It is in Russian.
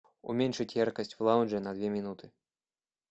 уменьшить яркость в лаунже на две минуты